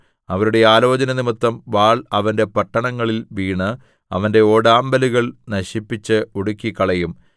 അവരുടെ ആലോചനനിമിത്തം വാൾ അവന്റെ പട്ടണങ്ങളിൽ വീണ് അവന്റെ ഓടാമ്പലുകൾ നശിപ്പിച്ച് ഒടുക്കിക്കളയും